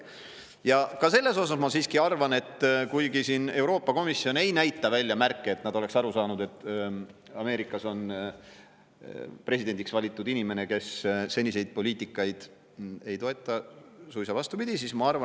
Ja ka selles osas ma siiski arvan, et Euroopa Komisjon küll ei näita välja märke, et nad oleks aru saanud, et Ameerikas on presidendiks valitud inimene, kes seniseid poliitikaid ei toeta – suisa vastupidi!